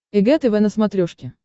эг тв на смотрешке